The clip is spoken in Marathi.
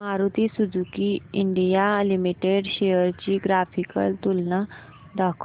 Maruti Suzuki India limited shares ची ग्राफिकल तुलना दाखव